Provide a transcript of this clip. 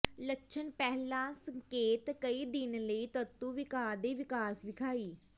ਲੱਛਣ ਪਹਿਲਾ ਸੰਕੇਤ ਕਈ ਦਿਨ ਲਈ ਤੰਤੂ ਿਵਕਾਰ ਦੇ ਵਿਕਾਸ ਵਿਖਾਈ